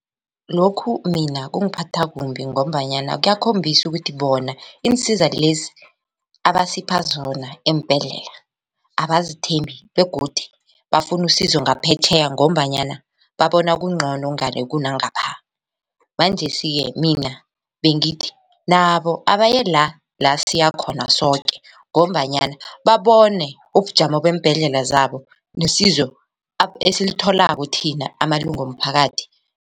Lokhu mina kungiphatha kumbi ngombanyana kuyakhombisa ukuthi bona iinsiza lezi abasipha zona eembhedlela abazithembi begodu bafuna usizo ngaphetjheya ngombanyana babona kungcono ngale kunangapha manjesike mina bengithi nabo abaye la la siyakhona soke ngombanyana babone ubujamo beembhedlela zabo nesizo esilitholako thina amalunga womphakathi.